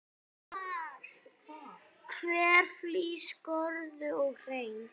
Hver flís skorðuð og hrein.